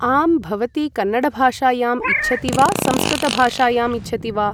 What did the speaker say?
आं भवती कन्नडभाषायाम् इच्छति वा संस्कृतभाषायाम् इच्छति वा ?